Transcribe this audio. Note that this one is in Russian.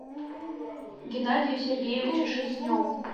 геннадию сергеевичу шерстневу